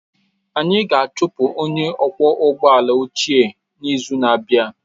Anyị ga-achụpụ onye ọkwọ ụgbọ ala ochie n'izu na-abịa